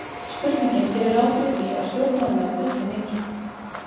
Spurningin gerir ráð fyrir því að stjórnmálamenn bulli mikið.